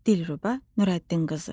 Dilrubə Nurəddin qızı.